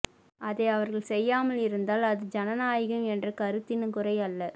அதை அவர்கள் செய்யாமல் இருந்தால் அது ஜனநாயகம் என்ற கருத்தின் குறை அல்ல